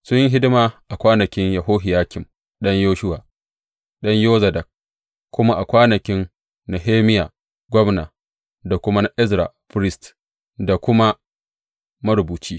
Sun yi hidima a kwanakin Yohiyakim ɗan Yeshuwa, ɗan Yozadak, kuma a kwanakin Nehemiya gwamna da kuma na Ezra firist da kuma marubuci.